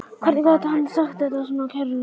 Hvernig gat hann sagt þetta svona kæruleysislega?